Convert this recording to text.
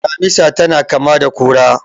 Damisa tana kama da kura.